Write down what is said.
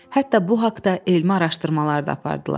Hətta bu haqda elmi araşdırmalar da apardılar.